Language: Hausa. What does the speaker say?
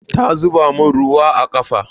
Ta zuba mun ruwa ne a kafa.